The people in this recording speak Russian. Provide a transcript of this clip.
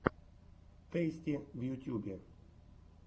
тэйсти в ютьюбе